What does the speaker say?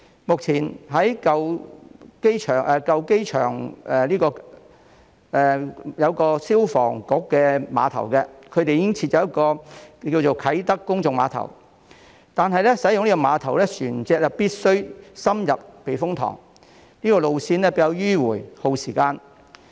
目前舊機場的消防局附近已經設有啟德公眾碼頭，但使用這個碼頭的船隻必須深入避風塘，路線比較迂迴耗時。